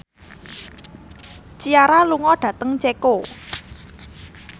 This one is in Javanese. Ciara lunga dhateng Ceko